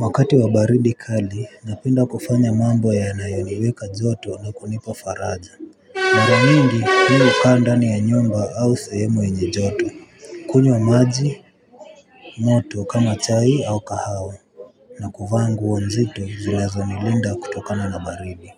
Wakati wa baridi kali napenda kufanya mambo yanayoniweka joto na kunipa faraja mara nyingi mimi hukaa ndani ya nyumba au sehemu yenye joto kunywa maji moto kama chai au kahawa na kuvaa nguo nzito zilizo nilinda kutokana na baridi